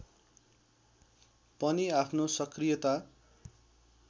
पनि आफ्नो सक्रियता